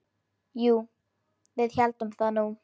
Jú, við héldum það nú.